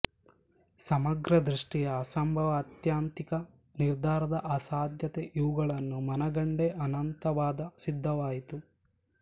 ಸಮಗ್ರದೃಷ್ಟಿಯ ಅಸಂಭವ ಆತ್ಯಂತಿಕ ನಿರ್ಧಾರದ ಅಸಾಧ್ಯತೆ ಇವುಗಳನ್ನು ಮನಗಂಡೇ ಅನಂತವಾದ ಸಿದ್ಧವಾಯಿತು